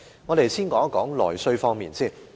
我們先談談內需方面。